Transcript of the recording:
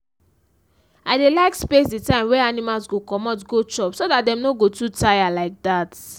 i dey like space the time wey animals go comot go chop so dat dem no go too tire like dat